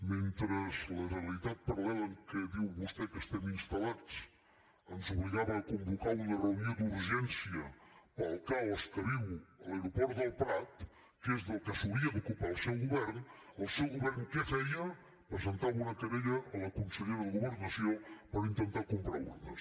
mentre la realitat paral·lela en què diu vostè que estem instal·lats ens obligava a convocar una reunió d’urgència pel caos que viu l’aeroport del prat que és del que s’hauria d’ocupar el seu govern el seu govern què feia presentava una querella a la consellera de governació per intentar comprar urnes